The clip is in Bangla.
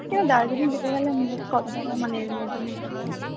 কেন দার্জিলিং যেতে গেলে মোট কত টাকা মানে এর মধ্যে হতে পারে?